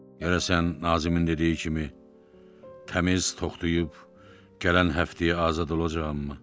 Görəsən Nazimin dediyi kimi təmiz toxtayıb gələn həftəyə azad olacağammı?